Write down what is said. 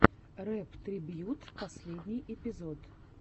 рэп трибьют последний эпизод